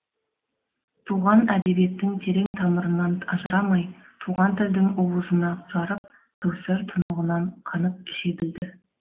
туған әдебиеттің терең тамырынан ажырамай туған тілдің уызына жарып кәусар тұнығынан қанып іше білді